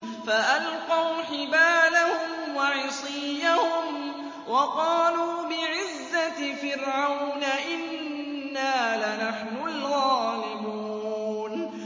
فَأَلْقَوْا حِبَالَهُمْ وَعِصِيَّهُمْ وَقَالُوا بِعِزَّةِ فِرْعَوْنَ إِنَّا لَنَحْنُ الْغَالِبُونَ